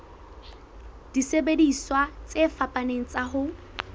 disebediswa tse fapaneng tsa ho